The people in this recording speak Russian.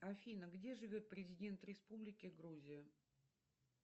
афина где живет президент республики грузия